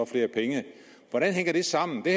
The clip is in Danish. flere penge hvordan hænger det sammen den